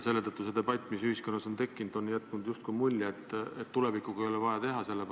See debatt, mis ühiskonnas on tekkinud, on jätnud mulje, et tulevikuga ei ole vaja tegeleda.